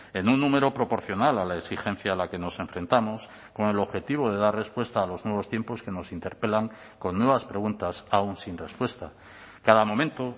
en un número proporcional a la exigencia a la que nos enfrentamos con el objetivo de dar respuesta a los nuevos tiempos que nos interpelan con nuevas preguntas aún sin respuesta cada momento